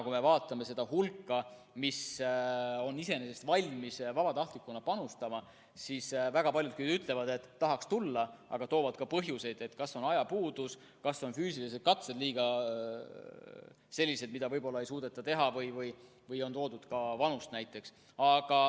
Kui me vaatame seda hulka, kes on iseenesest valmis vabatahtlikuna panustama, siis väga paljud ütlevad, et tahaks tulla, aga toovad ka põhjuseid,, kas see on siis ajapuudus, kas on füüsilised katsed sellised, mida võib-olla ei suudeta teha, või on toodud ka vanust näiteks.